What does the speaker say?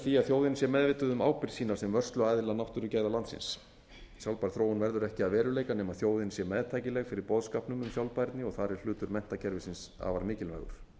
því að þjóðin sé meðvituð um ábyrgð sína sem vörsluaðila náttúrugæða landsins sjálfbær þróun verður ekki að veruleika nema þjóðin sé meðtækileg fyrir boðskapnum um sjálfbærni og þar er hlutur menntakerfisins afar mikilvægur